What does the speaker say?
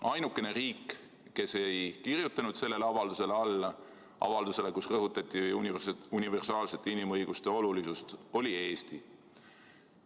Ainukene riik, kes ei kirjutanud alla avaldusele, kus rõhutati universaalsete inimõiguste olulisust, oli Eesti.